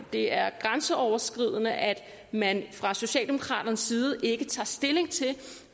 det er grænseoverskridende at man fra socialdemokraternes side ikke tager stilling til